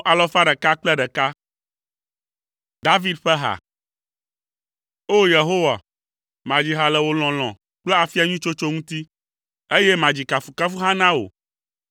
David ƒe ha. O! Yehowa, madzi ha le wò lɔlɔ̃ kple afia nyui tsotso ŋuti, eye madzi kafukafuha na wò.